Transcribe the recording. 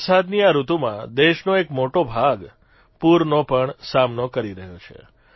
વરસાદની આ ઋતુમાં દેશનો એક મોટો ભાગ પૂરનો પણ સામનો કરી રહ્યો છે